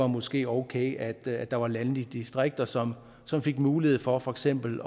måske var okay at at der var landdistrikter som som fik mulighed for for eksempel